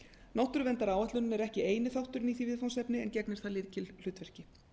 náttúruverndaráætlun er ekki eini þátturinn í því viðfangsefni en gegnir þar lykilhlutverki